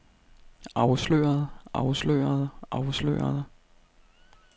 afslørede afslørede afslørede